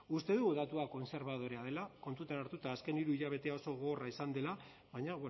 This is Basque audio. uste dugu datua kontserbadorea dela kontuan hartuta azken hiruhilekoa oso gogorra izan dela baina